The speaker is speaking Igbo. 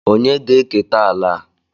Ònye ga-eketa ala a?